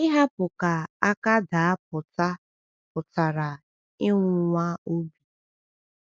Ihapụ ka aka daa pụta pụtara ịnwụnwa obi.